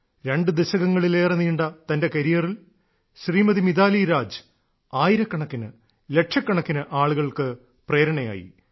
രണ്ടു ദശകങ്ങളിലേറെ നീണ്ട തന്റെ കരിയറിൽ ശ്രീമതി മിതാലി രാജ് ആയിരക്കണക്കിന് ലക്ഷക്കണക്കിന് ആളുകൾക്ക് പ്രേരണയായി